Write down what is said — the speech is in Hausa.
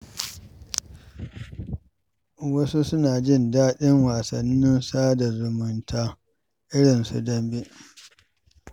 Wasu suna jin daɗin wasannin sada zumunta irin su dambe.